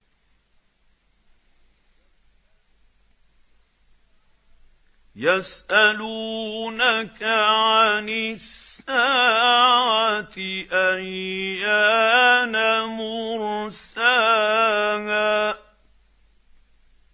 يَسْأَلُونَكَ عَنِ السَّاعَةِ أَيَّانَ مُرْسَاهَا